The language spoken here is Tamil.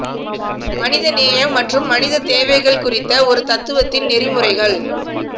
மனித நேயம் மற்றும் மனித தேவைகள் குறித்த ஒரு தத்துவத்தின் நெறிமுறைகள்